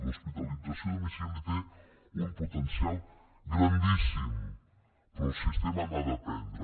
l’hospitalització a domicili té un potencial grandíssim però el sistema n’ha d’aprendre